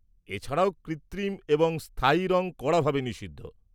-এছাড়াও, কৃত্রিম এবং স্থায়ী রং কড়াভাবে নিষিদ্ধ।